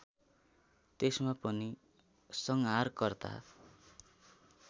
त्यसमा पनि संहारकर्ता